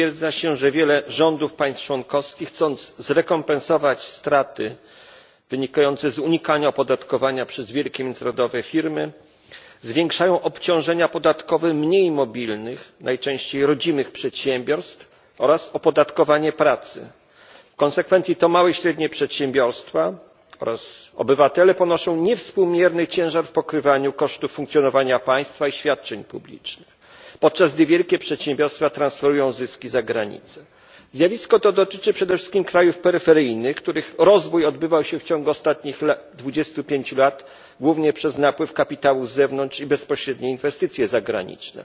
Pani Przewodnicząca! W dokumencie przedstawionym przez Komisję słusznie stwierdza się, że wiele rządów państw członkowskich, chcąc zrekompensować straty wynikające z unikania opodatkowania przez wielkie międzynarodowe firmy, zwiększa obciążenia podatkowe mniej mobilnych, najczęściej rodzimych przedsiębiorstw oraz opodatkowanie pracy. W konsekwencji to małe i średnie przedsiębiorstwa oraz obywatele ponoszą niewspółmierny ciężar udziału w pokrywaniu kosztów funkcjonowania państwa i świadczeń publicznych, podczas gdy wielkie przedsiębiorstwa transferują zyski za granicę. Zjawisko to dotyczy przede wszystkim krajów peryferyjnych, których rozwój odbywał się w ciągu ostatnich 25 lat głównie przez napływ kapitału z zewnątrz i bezpośrednie inwestycje zagraniczne,